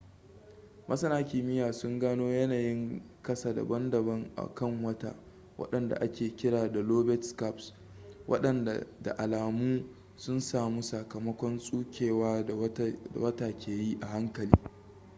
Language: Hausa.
masana kimiyya sun gano yanayin kasa daban-daban a kan wata wadanda ake kira da lobate scarps wadanda da alamu sun samu sakamakon tsukewa da wata ke yi a hankali